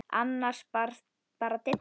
Annars bara Didda.